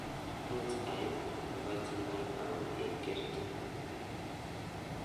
Muuch aiip nebo chinaek au eng kerti negagel